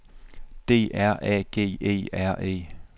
D R A G E R E